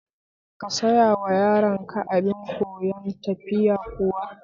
Ka sayawa yaronka abin koyan tafiya kuwa?